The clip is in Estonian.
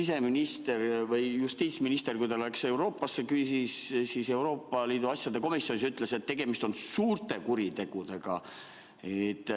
Sest justiitsminister, kui ta läks Euroopasse, Euroopa Liidu asjade komisjonis ütles, et tegemist on suurte kuritegudega.